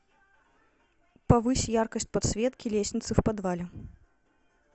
повысь яркость подсветки лестницы в подвале